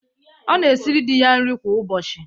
Ọ na-esiri di ya nri kwa ụbọchị.